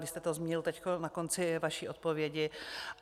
Vy jste to zmínil teď na konci své odpovědi.